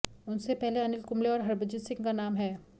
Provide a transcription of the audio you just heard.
उनसे पहले अनिल कुंबले और हरभजन सिंह का नाम है